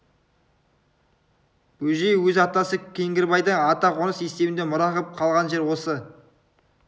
бөжей өз атасы кеңгірбайдан ата қоныс есебінде мұра қып қалған жер осы